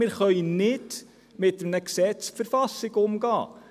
Wir können mit einem Gesetz nicht die Verfassung umgehen.